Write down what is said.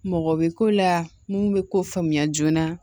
Mɔgɔ bɛ ko la mun bɛ ko faamuya joona